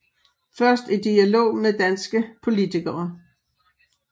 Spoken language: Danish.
Først i dialog med danske politikere